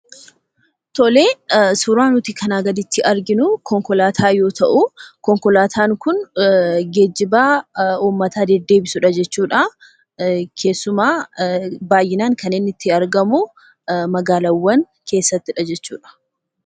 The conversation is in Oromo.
Tolee, suuraan nuti kanaa gaditti arginuu konkolaataa yoo ta'uu, konkolaataan kun geejjibaa uummata deddeebisudha jechuudhaa. Keessumaa baay'inaan kan inni itti argamuu magaalawwan keessattidha jechuudha.